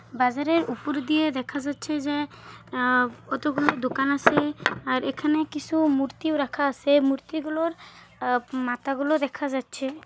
বাজারের ওপরে দিয়ে দেখা যাচ্ছে যে আ কতগুলো দোকান আসে-এ। আর এখানে কিছু মূর্তিও রাখা আসে মূর্তিগুলোর মাথাগুলো দেখা যাচ্ছে।